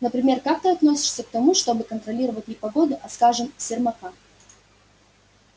например как ты относишься к тому чтобы контролировать не погоду а скажем сермака